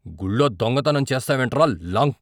గుళ్ళో దొంగతనం చేస్తావేంట్రా లం.